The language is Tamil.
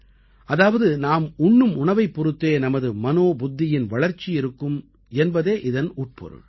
அதாவது நாம் உண்ணும் உணவைப் பொறுத்தே நமது மனோபுத்தியின் வளர்ச்சி இருக்கும் என்பதே இதன் உட்பொருள்